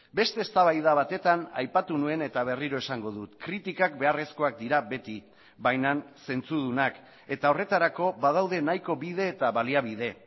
beste eztabaida batetan aipatu nuen eta berriro esango dut kritikak beharrezkoak dira beti baina zentzudunak eta horretarako badaude nahiko bide eta baliabide